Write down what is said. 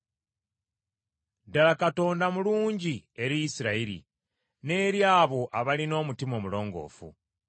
Ddala Katonda mulungi eri Isirayiri n’eri abo abalina omutima omulongoofu.